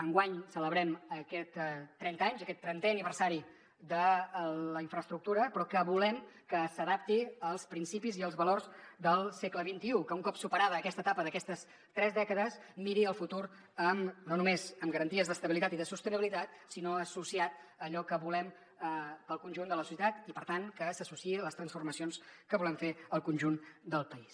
enguany en celebrem aquests trenta anys aquest trentè aniversari de la infraestructura però que volem que s’adapti als principis i els valors del segle xxi que un cop superada aquesta etapa d’aquestes tres dècades miri el futur no només amb garanties d’estabilitat i de sostenibilitat sinó associat a allò que volem per al conjunt de la societat i per tant que s’associï a les transformacions que volem fer al conjunt del país